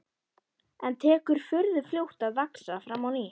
En tekur furðu fljótt að vaxa fram á ný.